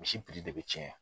Misi de bɛ cɛn/